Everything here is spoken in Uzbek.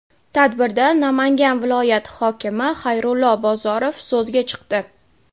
Tadbirda Namangan viloyati hokimi Xayrullo Bozorov so‘zga chiqdi.